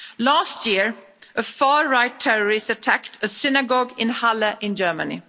Last year, a far right terrorist attacked a synagogue in Halle in Germany.